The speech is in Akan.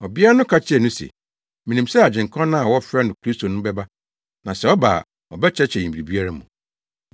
Ɔbea no ka kyerɛɛ no se, “Minim sɛ Agyenkwa no a wɔfrɛ no Kristo no bɛba, na sɛ ɔba a ɔbɛkyerɛkyerɛ yɛn biribiara mu.”